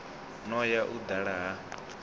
no ya u dala ha